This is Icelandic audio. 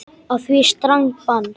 Á því strangt bann.